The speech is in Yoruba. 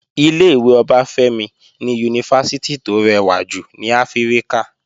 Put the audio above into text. Ilé-ìwé Ọbáfẹ́mi ni Yunifásítì tó rẹwà jù ní Áfíríkà